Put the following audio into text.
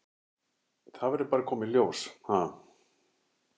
Það verður bara að koma í ljós, ha?